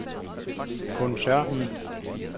koncernen